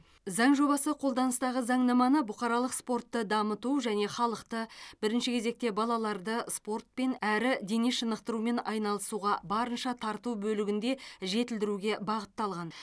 заң жобасы қолданыстағы заңнаманы бұқаралық спортты дамыту және халықты бірінші кезекте балаларды спортпен әрі дене шынықтырумен айналысуға барынша тарту бөлігінде жетілдіруге бағытталған